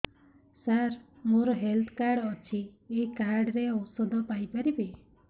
ସାର ମୋର health card ଅଛି ଏହି କାର୍ଡ ରେ ଔଷଧ ପାଇପାରିବି